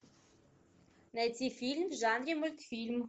найти фильм в жанре мультфильм